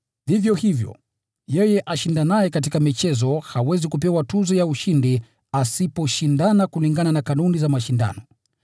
Vivyo hivyo, yeye ashindanaye katika michezo hawezi kupewa tuzo ya ushindi asiposhindana kulingana na kanuni za mashindano.